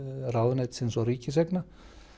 ráðuneytisins og ríkiseigna